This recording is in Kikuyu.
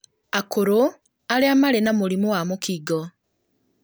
akũrũ, arĩa marĩ na mũrimũ wa mũkingo,